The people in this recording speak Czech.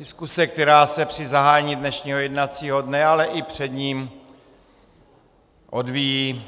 Diskuse, která se při zahájení dnešního jednacího dne, ale i před ním odvíjí,